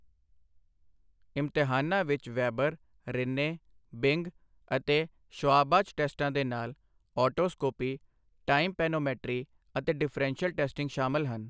ਇਮਤਿਹਾਨਾਂ ਵਿੱਚ Weber, Rinne, Bing ਅਤੇ ਸ਼ਵਾਬਾਚ ਟੈਸਟਾਂ ਦੇ ਨਾਲ ਓਟੋਸਕੋਪੀ, ਟਾਈਮਪੈਨੋਮੈਟਰੀ ਅਤੇ ਡਿਫ੍ਰੈਂਸ਼ੀਅਲ ਟੈਸਟਿੰਗ ਸ਼ਾਮਲ ਹਨ।